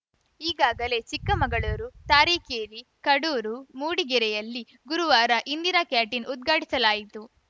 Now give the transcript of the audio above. ಈಗಾಗಲೇ ಚಿಕ್ಕಮಗಳೂರು ತಾರೀಕೇರಿ ಕಡೂರು ಮೂಡಿಗೆರೆಯಲ್ಲಿ ಗುರುವಾರ ಇಂದಿರಾ ಕ್ಯಾಂಟೀನ್‌ ಉದ್ಘಾಟಿಸಲಾಯಿತು